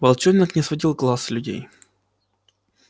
волчонок не сводил глаз с людей